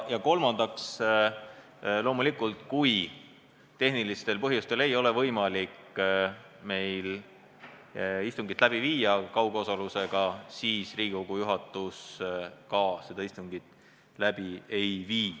Ja kolmandaks, kui meil tehnilistel põhjustel ei ole võimalik kaugosalusega istungit läbi viia, siis Riigikogu juhatus seda istungit läbi ei vii.